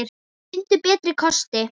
Finndu betri kosti!